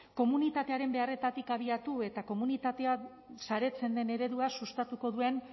komunitatearen beharretatik abiatu eta komunitatean saretzen den eredua sustatuko duen